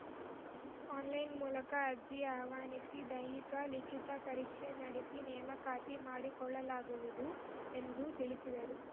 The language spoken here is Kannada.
ಆನ್‌ಲೈನ್‌ ಮೂಲಕ ಅರ್ಜಿ ಆಹ್ವಾನಿಸಿ ದೈಹಿಕ ಲಿಖಿತ ಪರೀಕ್ಷೆ ನಡೆಸಿ ನೇಮಕಾತಿ ಮಾಡಿಕೊಳ್ಳಲಾಗುವುದು ಎಂದು ತಿಳಿಸಿದರು